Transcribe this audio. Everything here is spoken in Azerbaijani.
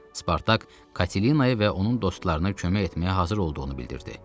Spartak Katelinaya və onun dostlarına kömək etməyə hazır olduğunu bildirdi.